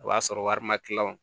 O b'a sɔrɔ wari ma kila